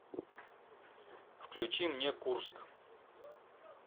включи мне курск